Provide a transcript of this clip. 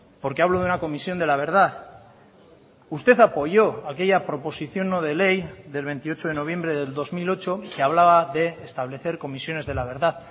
porque hablo de una comisión de la verdad usted apoyó aquella proposición no de ley del veintiocho de noviembre del dos mil ocho que hablaba de establecer comisiones de la verdad